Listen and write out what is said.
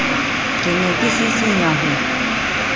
ke ne ke sisinya ho